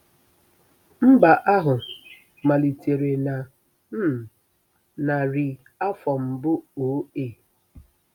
“Mba” ahụ malitere na um narị afọ mbụ O.A.